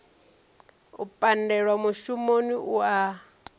u pandelwa mushumoni u ya